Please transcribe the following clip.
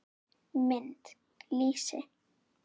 Mynd: Lýsi.